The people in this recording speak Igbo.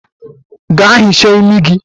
Gaa hichaa imi gi!